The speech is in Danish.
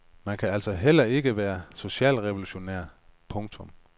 Man kan altså heller ikke være socialrevolutionær. punktum